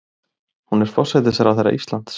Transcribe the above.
Hún er forsætisráðherra Íslands.